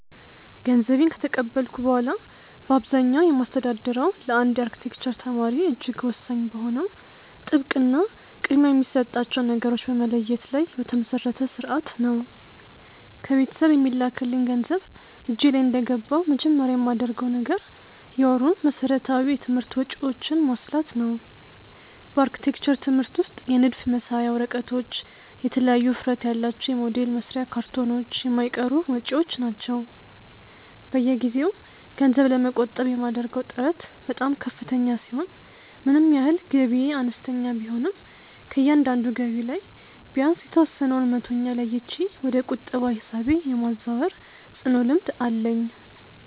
ገንዘቤን ከተቀበልኩ በኋላ በአብዛኛው የማስተዳድረው ለአንድ የአርክቴክቸር ተማሪ እጅግ ወሳኝ በሆነው ጥብቅ እና ቅድሚያ የሚሰጣቸውን ነገሮች በመለየት ላይ በተመሰረተ ሥርዓት ነው። ከቤተሰብ የሚላክልኝ ገንዘብ እጄ ላይ እንደገባ መጀመሪያ የማደርገው ነገር የወሩን መሠረታዊ የትምህርት ወጪዎቼን ማስላት ነው። በአርክቴክቸር ትምህርት ውስጥ የንድፍ መሳያ ወረቀቶች፣ የተለያዩ ውፍረት ያላቸው የሞዴል መስሪያ ካርቶኖች የማይቀሩ ወጪዎች ናቸው። በየጊዜው ገንዘብ ለመቆጠብ የማደርገው ጥረት በጣም ከፍተኛ ሲሆን ምንም ያህል ገቢዬ አነስተኛ ቢሆንም ከእያንዳንዱ ገቢ ላይ ቢያንስ የተወሰነውን መቶኛ ለይቼ ወደ ቁጠባ ሂሳቤ የማዛወር ጽኑ ልምድ አለኝ።